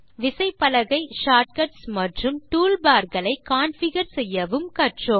விசைப்பலகை shortcuts மற்றும் toolbar களை கான்ஃபிகர் செய்யவும் கற்றோம்